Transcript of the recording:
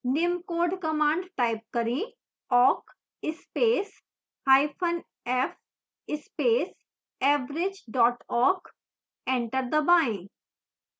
निम्न code command type करें awk space hyphen f space average dot awk enter दबाएं